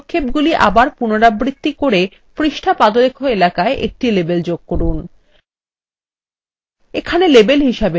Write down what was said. এখন একই পদক্ষেপগুলি আবার পুনরাবৃত্তি করে পৃষ্ঠা পাদলেখ এলাকায় একটি label যোগ করুন